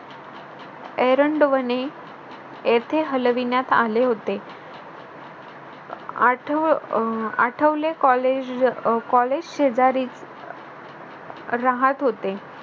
एरंडवणे येथे हलविण्यात आले होते. आठव अं आठवले college शेजारी राहत होते